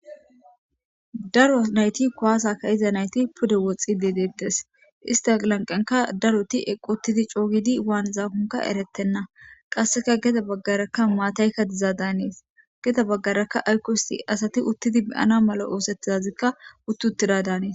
daro nayti kowaasaka iza nayti pude woxxi dedeettes istalanqenka daroti equttidi coogidi waan zahonka eretenna qasseka geda baggaraka maataykka diza daanees geda baggarakka aykosti asati uttidi meyana mala oosettizazikka utti uttida daanees